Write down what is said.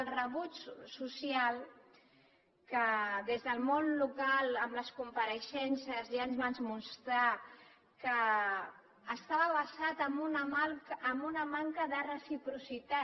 el rebuig social que des del món local en les compareixences ja ens van mostrar que estava basat en una manca de reciprocitat